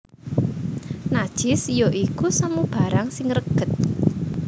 Najis ya iku samubarang sing reged